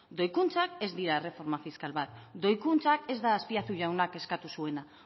doikuntzak ez dira erreforma fiskal bat doikuntza ez da azpiazu jauna eskatu zuena